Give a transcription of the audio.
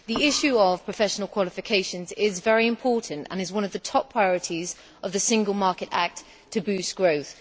The issue of professional qualifications is very important and is one of the top priorities of the Single Market Act to boost growth.